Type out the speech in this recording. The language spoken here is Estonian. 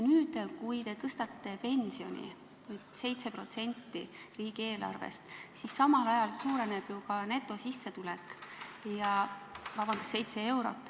Nüüd, kui te tõstate pensioni 7 eurot, siis samal ajal suureneb ju netosissetulek.